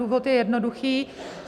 Důvod je jednoduchý.